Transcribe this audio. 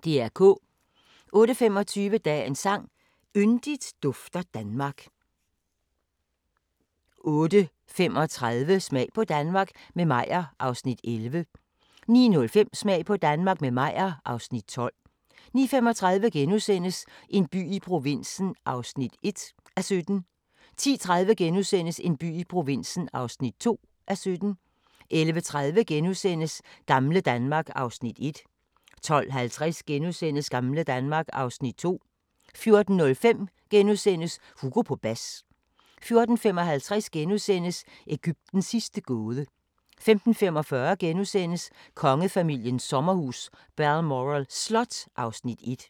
08:25: Dagens sang: Yndigt dufter Danmark 08:35: Smag på Danmark – med Meyer (Afs. 11) 09:05: Smag på Danmark – med Meyer (Afs. 12) 09:35: En by i provinsen (1:17)* 10:30: En by i provinsen (2:17)* 11:30: Gamle Danmark (Afs. 1)* 12:50: Gamle Danmark (Afs. 2)* 14:05: Hugo på bas * 14:55: Egyptens sidste gåde * 15:45: Kongefamiliens sommerhus – Balmoral Slot (Afs. 1)*